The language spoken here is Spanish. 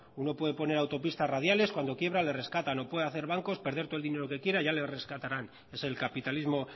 uno puede poner autopista radiales cuando quiebra le rescatan o puede hacer bancos perder todo el dinero que quiera ya le rescatarán es el capitalismo